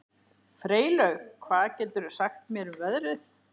Freylaug, hvað geturðu sagt mér um veðrið?